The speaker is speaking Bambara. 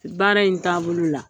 Baara in taabolo la.